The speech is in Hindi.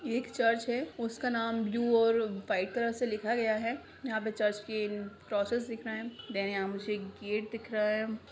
ये एक चर्च है उसका नाम ब्लू और वाइट कलर से लिखा गया है यहा पे चर्च की क्रोसेस दिख रहे है देन यहाँ मुझे एक गेट दिख रहा हैं।